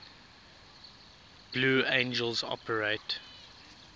blue angels operate